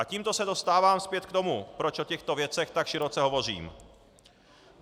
A tímto se dostávám zpět k tomu, proč o těchto věcech tak široce hovořím.